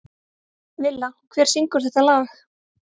Villa, hver syngur þetta lag?